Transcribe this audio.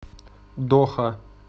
доха